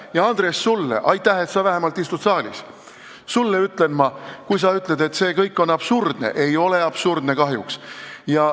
Ja, Andres, sulle – aitäh, et sa vähemalt saalis istud – ütlen ma, et sina ütlesid, et see kõik on absurdne, aga see ei ole absurdne, kahjuks.